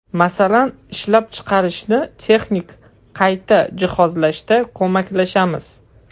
Masalan, ishlab chiqarishni texnik qayta jihozlashda ko‘maklashamiz.